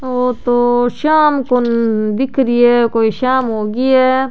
वो तो शाम को दिख री है कोई शाम होगी है।